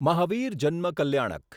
Mahavir Janma Kalyanak